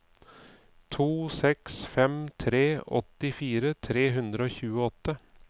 to seks fem tre åttifire tre hundre og tjueåtte